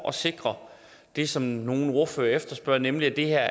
at sikre det som nogle ordførere efterspørger nemlig at det her